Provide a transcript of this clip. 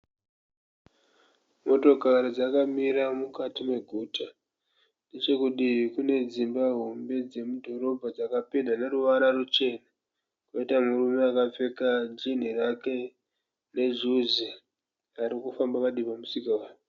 Motokari dzakamira mukati meguta. Nechekudivi kunedzinba hombe dzemudhorobha dzakapendwa neruvara ruchena. Poita murume akapfeka jinhi rake nejuzi arikufamba padivi pemusika.